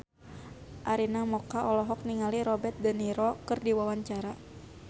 Arina Mocca olohok ningali Robert de Niro keur diwawancara